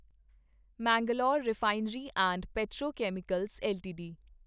Mangalore refinery and petrochemicals LTD